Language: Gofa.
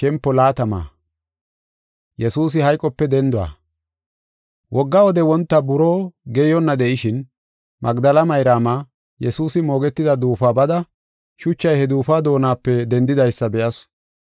Wogga wode wonta buroo geeyonna de7ishin, Magdela Mayraama, Yesuusi moogetida duufuwa bada shuchay he duufuwa doonape dendidaysa be7asu.